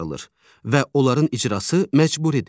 və onların icrası məcburidir.